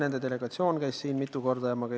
Nende delegatsioon on mitu korda siin käinud.